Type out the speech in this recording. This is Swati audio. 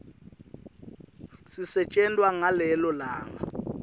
sisetjentwa ngalelo langa